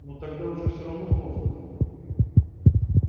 ну тогда уж все равно поздно